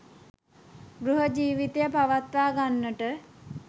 ගෘහ ජීවිතය පවත්වාගන්නට